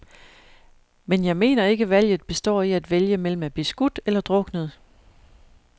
Men jeg mener ikke valget består i at vælge mellem at blive skudt eller druknet.